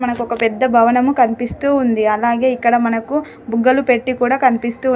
మనకు ఒక పెద్ద భవనము కనిపిస్తూ ఉంది. అలాగే ఇక్కడ మనకు బుగ్గలు పెట్టి కూడా కనిపిస్తూ ఉ --